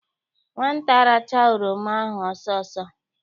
Nwata a rachaa oroma ahụ ọsọ ọsọ!